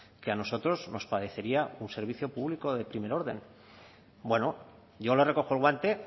que a nosotros nos parecería un servicio público de primer orden bueno yo le recojo el guante